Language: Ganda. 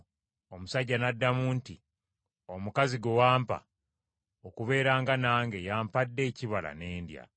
Omusajja n’addamu nti, “Omukazi gwe wampa okubeeranga nange y’ampadde ekibala ne ndya.”